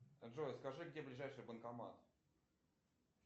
джой скажи где ближайший банкомат